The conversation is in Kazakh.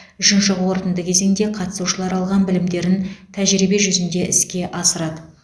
үшінші қорытынды кезеңде қатысушылар алған білімдерін тәжірибе жүзінде іске асырады